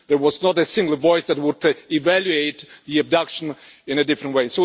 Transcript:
there was not a single voice that would evaluate the abduction in a different way.